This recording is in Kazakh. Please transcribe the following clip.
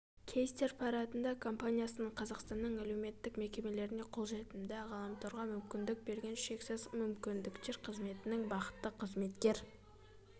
кейстер парадында компаниясының қазақстанның әлеуметтк мекемелеріне қолжетімді ғаламорға мүмкіндік берген шексіз мүмкініктер қызметінің бақытты қызметкер